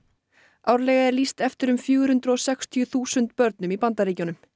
árlega er lýst eftir fjögur hundruð og sextíu þúsund börnum í Bandaríkjunum